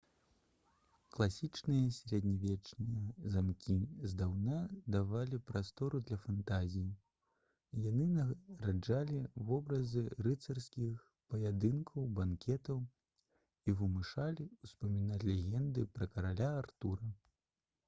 класічныя сярэднявечныя замкі здаўна давалі прастору для фантазіі яны нараджалі вобразы рыцарскіх паядынкаў банкетаў і вымушалі ўспамінаць легенды пра караля артура